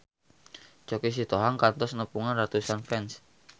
Choky Sitohang kantos nepungan ratusan fans